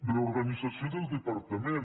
reorganització del departament